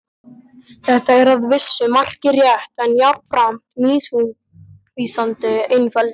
Þetta er að vissu marki rétt en jafnframt misvísandi einföldun.